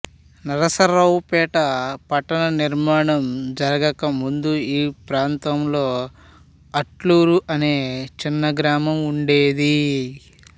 నరసరావుపేట పట్టణ నిర్మాణం జరగకముందు ఈ ప్రాంతంలో అట్లూరు అనే చిన్న గ్రామం ఉండేది